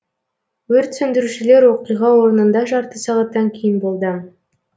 өрт сөндірушілер оқиға орнында жарты сағаттан кейін болды